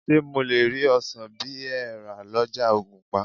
Ṣé mo lè rí ọsàn bí ẹ rà lọ́jà ògùnpa?